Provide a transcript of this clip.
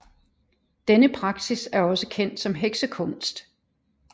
Denne praksis er også kendt som heksekunst